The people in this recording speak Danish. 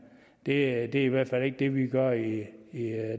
det er i hvert fald ikke det vi gør i